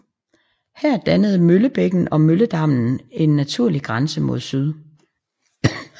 Her dannede Møllebækken og Mølledammen en naturlig grænse mod syd